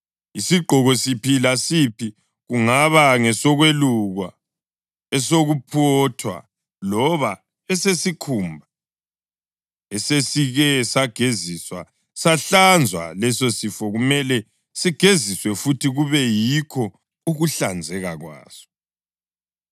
Isigqoko siphi lasiphi, kungaba ngesokwelukwa, esokuphothwa loba esesikhumba esesike sageziswa sahlanzwa lesosifo kumele sigeziswe futhi, kube yikho ukuhlanzeka kwaso.”